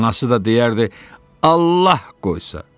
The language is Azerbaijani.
Anası da deyərdi: Allah qoysa.